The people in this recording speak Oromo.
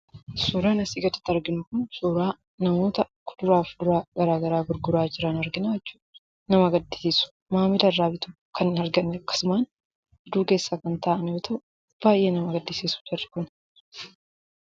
Suuraan asii gaditti arginu kun suuraa namoota kuduraa fi muduraa garaa garaa gurguraa jiran argina. Namoonni suuraa kana irraa arginu kun baay'ee nama gaddisiisu. Sababni isaas, maamila isaan irra bitan kan hin argannee fi akkasumaan aduu keessa taa'u.